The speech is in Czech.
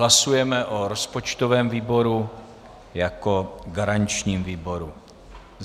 Hlasujeme o rozpočtovém výboru jako garančním výboru.